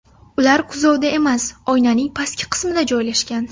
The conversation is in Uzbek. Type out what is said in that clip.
ular kuzovda emas, oynaning pastki qismida joylashgan.